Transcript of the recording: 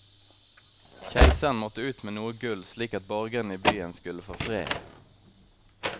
Keiseren måtte ut med noe gull, slik at borgerne i byen skulle få fred.